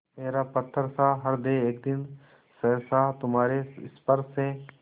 मेरा पत्थरसा हृदय एक दिन सहसा तुम्हारे स्पर्श से